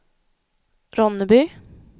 Ronneby